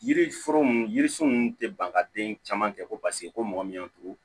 Yiri foro ninnu yiri sun ninnu tɛ ban ka den caman kɛ ko paseke ko mɔgɔ min y'a to